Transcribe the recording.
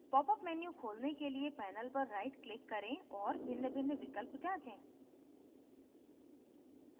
popअप menu खोलने के लिए panel पर right click करें और भिन्नभिन्न विकल्प जाँचें